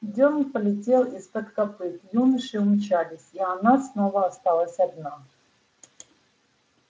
дёрн полетел из-под копыт юноши умчались и она снова осталась одна